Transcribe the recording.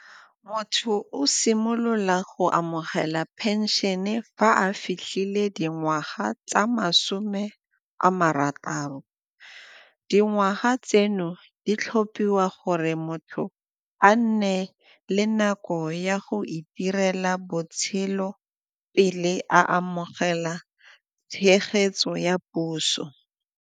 Motho o simolola go amogela phenšene fa a fitlhile dingwaga tsa masome a marataro. Dingwaga tseno di tlhophiwa gore motho a nne le nako ya go itirela botshelo pele a amogela tshegetso ya puso.